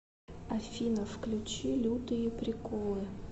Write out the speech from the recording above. афина включи лютые приколы